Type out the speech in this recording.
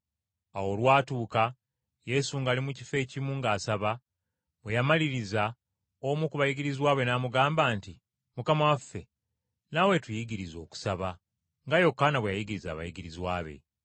Awo olwatuuka Yesu ng’ali mu kifo ekimu ng’asaba, bwe yamaliriza, omu ku bayigirizwa be n’amugamba nti, “Mukama waffe, naawe tuyigirize okusaba nga Yokaana bwe yayigiriza abayigirizwa be.”